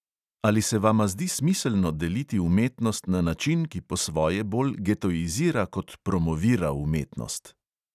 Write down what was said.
Ali se vama zdi smiselno deliti umetnost na način, ki po svoje bolj getoizira kot promovira umetnost?